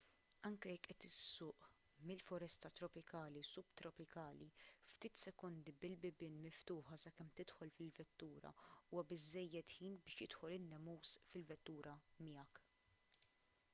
anke jekk qed issuq mill-foresta tropikali subtropikali ftit sekondi bil-bibien miftuħa sakemm tidħol fil-vettura huwa biżżejjed ħin biex jidħol in-nemus fil-vettura miegħek